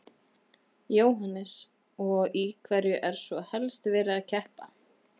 Jóhannes: Og í hverju er svo helst verið að keppa?